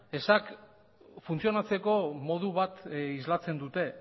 ezak funtzionatzeko modu bat islatzen dute